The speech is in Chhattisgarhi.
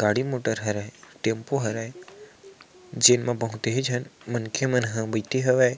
गाड़ी मोटर हरये टेम्पू हरये जेमे बहुत ही झन मन खे मन ह बैठे हवे